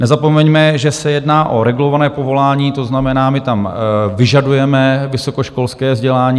Nezapomeňme, že se jedná o regulované povolání, to znamená, my tam vyžadujeme vysokoškolské vzdělání.